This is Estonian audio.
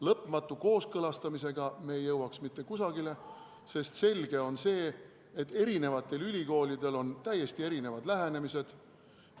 Lõpmatu kooskõlastamisega ei jõuaks me mitte kusagile, sest selge on see, et eri ülikoolidel on täiesti erinevad lähenemised.